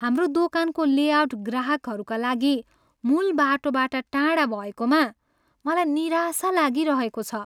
हाम्रो दोकानको लेआउट ग्राहकहरूका लागि मुूल बाटोबाट टाढा भएकोमा मलाई निराशा लागिरहेको छ।